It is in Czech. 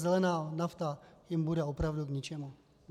Zelená nafta jim bude opravdu k ničemu.